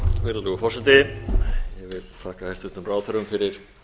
virðulegur forseti ég vil þakka hæstvirtum ráðherrum fyrir